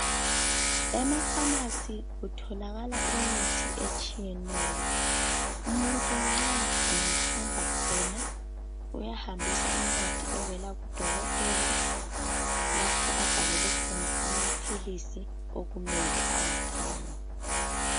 Emafamasi kutholakala imithi etshiyeneyo. Umuntu nxa engahamba khona uyahambisa incwadi evela kudokotela lapho abhalelwe khona amaphilisi okumele awathenge.